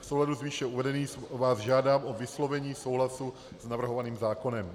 V souladu s výše uvedeným vás žádám o vyslovení souhlasu s navrhovaným zákonem.